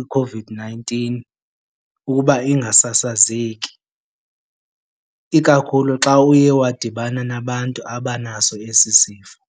iCOVID-nineteen ukuba angasasazeki ikakhulu xa uye wadibana nabantu abanaso esi sifo.